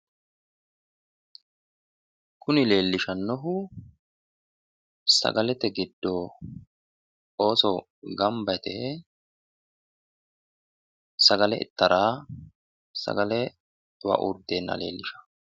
kuni leellishannohu sagalete giddo ooso gamba yite sagale ittara sagelewa uurriteeha leellishanno.